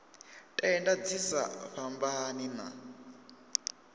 tenda dzi sa fhambani na